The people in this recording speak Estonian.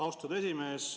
Austatud esimees!